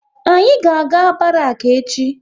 Anyị ga aga Barak echi